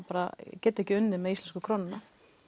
geta ekki unnið með íslenskum krónum